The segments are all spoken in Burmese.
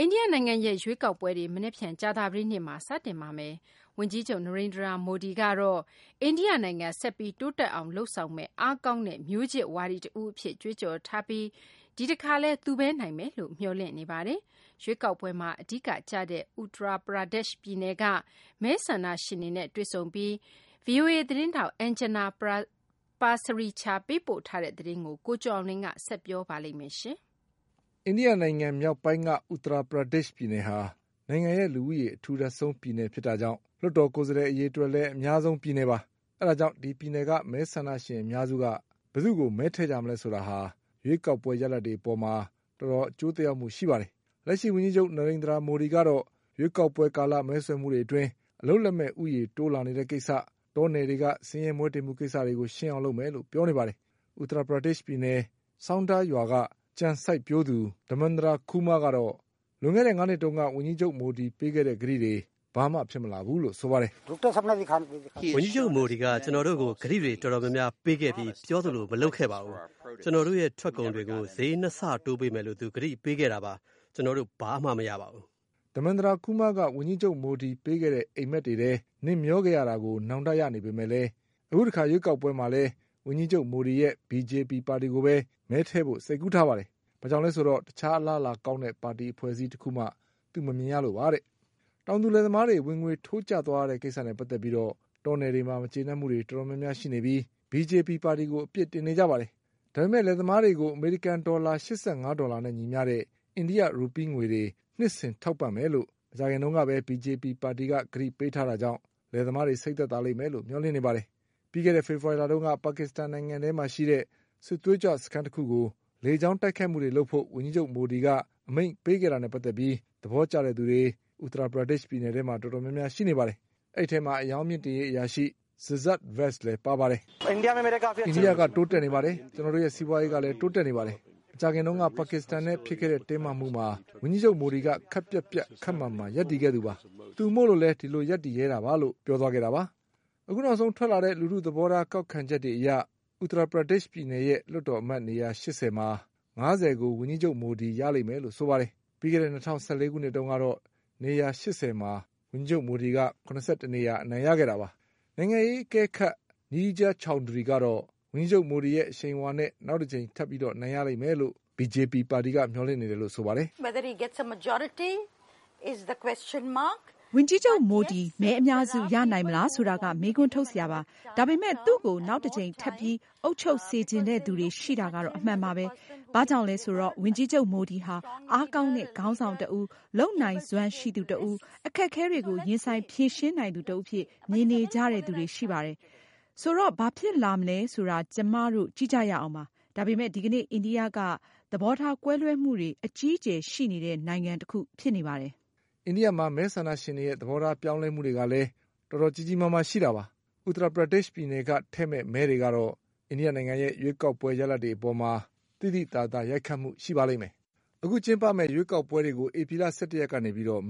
အိန္ဒိယနိုင်ငံရဲ့ရွေးကောက်ပွဲတွေ မနက်ဖြန် ကြာသပတေးနေ့မှာ စတင်ပါတော့မယ်။ ဝန်ကြီးချုပ် Narendra Modi က တော့ အိန္ဒိယနိုင်ငံဆက်ပြီး တိုးတက်အောင် လုပ်ဆောင်မယ့် အားကောင်းတဲ့ မျိုးချစ်ဝါဒီတဦးအဖြစ် ကြွေးကြော် ထားပြီး ဒီတခါလည်း သူပဲနိုင်မယ် လို့မျှော်လင့်နေပါတယ်။ ရွေးကောက်ပွဲမှာအဓိကကျတဲ့ Uttar Pradesh ပြည်နယ်က မဲဆန္ဒရှင် တွေနဲ့တွေ့ဆုံပြီး ဗီအိုအေသတင်းထောက် Anjana Pasricha ပေးပို့ထားတဲ့သတင်းကို ကိုကျော်အောင်လွင် ဆက်ပြော ပါလိမ့်မယ်။ အိန္ဒိယနိုင်ငံမြောက်ပိုင်းက Uttar Pradeshပြည်နယ်ဟာ နိုင်ငံရဲ့လူဦးရေ အထူထပ်ဆုံးပြည်နယ်ဖြစ်တာကြောင့် လွှတ် တော်ကိုယ်စားလှယ် အရေအတွက်လည်း အများဆုံးပြည်နယ်ပါ။ အဲဒါကြောင့် ဒီပြည်နယ်က မဲဆန္ဒရှင်အများစုက ဘယ်သူ့ကို မဲထည့်မလဲ ဆိုတာက ရွေးကောက်ပွဲရလာဒ်တွေအပေါ်မှာ တော်တော်အကျိုးသက်ရောက်မှုရှိတာပါ။ လက်ရှိဝန်ကြီးချုပ် Narendra Modi ကတော့ ရွေးကောက်ပွဲကာလ မဲဆွယ်မှုတွေအတွင်း အလုပ်လက်မဲ့ ဦးရေးတိုးလာနေတဲ့ကိစ္စ၊ တော နယ်တွေက ဆင်းရဲမွဲတေမှုကိစ္စတွေကို ရှင်းအောင်လုပ်မယ်လို့ ပြောနေပါတယ်။ Uttar Pradeshပြည်နယ် Saunda ရွာက ကြံစိုက်ပျိုးသူ Dharmendra Kumar ကတော့ လွန်ခဲ့တဲ့ ငါးနှစ်တုန်းက ဝန်ကြီး ချုပ်မိုဒီ ပေးထားခဲ့တဲ့ကတိတွေ ဘာမှဖြစ်မလာဘူးလို့ဆိုပါတယ်။ “ဝန်ကြီးချုပ်မိုဒီက ကျနော်တို့ကို ကတိတွေတော်တော်များများပေးခဲ့ပြီး ပြောသလိုမလုပ်ခဲ့ပါဘူး။ ကျနော်တို့ရဲ့ထွက်ကုန် တွေကို ဈေး၂ဆတိုးပေးမယ်လို့သူကတိပေးခဲ့တာပါ။ ကျနော်တို့ ဘာမှမရပါဘူး” Dharmendra Kumar က ဝန်ကြီးချုပ်မိုဒီပေးတဲ့ အိမ်မက်တွေထဲ နှစ်မျောခဲ့ရတာကို နောင်တရနေပေမဲ့လည်း အခုတခါ ရွေးကောက်ပွဲမှာလည်း ဝန်ကြီးချုပ်မိုဒီရဲ့ BJP ပါတီကိုပဲ မဲထည့်ဖို့ စိတ်ကူးထားပါတယ်။ ဘာကြောင့်လည်းဆိုတော့ တခြားအလားအလာကောင်းတဲ့ ပါတီအဖွဲ့အစည်း တခုမှ သူမမြင်ရလို့ပါတဲ့။ တောင်သူလယ်သမားတွေ ဝင်ငွေထိုးကျသွားရတဲ့ကိစ္စနဲ့ပတ်သက်ပြီး တောနယ်တွေမှာမကျေနပ်မှုတွေတော်တော် များ များရှိနေပြီး BJP ပါတီကို အပြစ်တင်နေကြတာပါ။ ဒါပေမဲ့ လယ်သမားတွေကို အမေရိကန်ဒေါ်လာ ၈၅ဒေါ် လာနဲ့ ညီမျှ တဲ့ အိန္ဒိယ ရူပီးငွေတွေ နှစ်စဉ်ထောက်ပံ့မယ်လို့ မကြာခင်ကပဲ BJP ပါတီက ကတိပေးထားတာကြောင့် လယ်သမား တွေ စိတ်သက်သာလိမ့်မယ်လို့ မျှော်လင့်နေပါတယ်။ ပြီးခဲ့တဲ့ဖေဖေါ်ဝါရီလတုန်းက ပါကစ္စတန် နိုင်ငံထဲမှာ ရှိတဲ့ စစ်သွေးကြွစခန်း တခုကို လေကြောင်းတိုက်ခိုက်မှုတွေလုပ်ဖို့ ဝန်ကြီးချုပ်မိုဒီက အမိန့်ပေးခဲ့တာနဲ့ ပတ်သက်ပြီး သဘောကျတဲ့သူ တွေ Uttar Pradesh ပြည်နယ်ထဲမှာတော်တော်များများရှိနေပါတယ်။ အဲဒီအထဲမှာ အရောင်းမြှင့်တင်ရေးအရာရှိ Siddsart Vats လည်းပါပါတယ်။ “အိန္ဒိယက တိုးတက်နေပါတယ်။ ကျနော်တို့ရဲ့ စီးပွားရေးကလည်း တိုးတက်နေပါတယ်။ မကြာခင်တုန်းကပါကစ္စတန်နဲ့ဖြစ် ခဲ့တဲ့ တင်းမာမှုမှာ ဝန်ကြီးချုပ်မိုဒီက ခပ်ပြတ်ပြတ် ခပ်မာမာရပ်တည်ခဲ့တာပါ။ သူမို့လို့ဒီလိုရပ်တည်ရဲတာပါ” နောက်ဆုံးထွက်လာတဲ့ လူထုသဘောထားကောက်ခံချက်တွေအရ Uttar Pradeshပြည်နယ်ရဲ့ လွှတ်တော်အမတ်နေရာ ရှစ်ဆယ်မှာ ငါးဆယ်ကို ဝန်ကြီးချုပ်မိုဒီရလိမ့်မယ်လို့ဆိုပါတယ်။ ပြီးခဲ့တဲ့ ၂၀၁၄ခုနှစ်တုန်းကတော့ နေရာ ၈၀ မှာ ဝန်ကြီးချုပ်မိုဒီက ၇၁နေရာ အနိုင်ရခဲ့တာပါ။ နိုင်ငံရေးအကဲခတ် Neerja Chowdhury ကတော့ ဝန်ကြီးချုပ်မိုဒီရဲ့အရှိန်အဝါနဲ့ နောက်တကြိမ် ထပ်ပြီးအနိုင်ရလိမ့်မယ်လို့ BJP ပါတီကမျှော်လင့်နေတယ်လို့ဆိုပါတယ်။ “ဝန်ကြီးချုပ်မိုဒီ မဲအများစုရနိုင်မလားဆိုတာက မေးခွန်းထုတ်စရာပါ။ ဒါပေမဲ့ သူ့ကို နောက်တကြိမ်ထပ်ပြီး အုပ်ချုပ်စေချင် တဲ့သူတွေရှိတာကတော့ အမှန်ပါပဲ။ ဘာကြောင့်လဲဆိုတော့ ဝန်ကြီးချုပ် မိုဒီဟာ အားကောင်းတဲ့ ခေါင်းဆောင်တဦး၊ လုပ် ဆောင်နိုင်စွမ်းရှိသူတဦး၊ အခက်အခဲတွေကို ရင်ဆိုင်ဖြေရှင်းနိုင်သူတဦးအဖြစ် မြင်နေကြတဲ့သူတွေရှိပါတယ်။ ဆိုတော့ ဘာဖြစ်လာမလဲဆိုတာ ကျမတို့ကြည့်ကြရအောင်ပါ။ ဒါပေမဲ့ ဒီကနေ့ အိန္ဒိယက သဘောထား ကွဲလွဲမှုတွေအကြီး အကျယ်ရှိနေတဲ့ နိုင်ငံတခုဖြစ်နေပါတယ်” မဲဆန္ဒရှင်တွေရဲ့ သဘောထားပြောင်းလဲမှုတွေကလည်း တော်တော်ကြီးကြီးမားမားရှိတာပါ။ Uttar Pradesh ပြည်နယ်က ထည့်မဲ့မဲတွေကတော့ အိန္ဒိယရဲ့ရွေးကောက်ပွဲရလဒ်တွေအပေါ် သိသိသာသာ ရိုက်ခတ်မှုရှိပါလိမ့်မယ်။ အခုကျင်းပမယ့် ရွေးကောက်ပွဲတွေကို ဧပြီလ ၁၁ရက်ကနေ မေလ ၁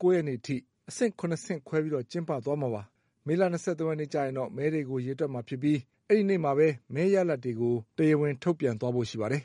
၉ရက်နေ့ အထိ အဆင့် ၇ဆင့်ခွဲပြီး ကျင်းပသွားမှာပါ။ မေလ ၂၃ရက် နေ့ကျရင်တော့ မဲတွေကိုရေတွက်မှာဖြစ်ပြီး အဲဒီနေ့မှာပဲ မဲရလဒ်တွေကို တရားဝင်ထုတ်ပြန်သွားဖို့ရှိပါတယ်